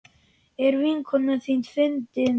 Er vinkona þín fundin?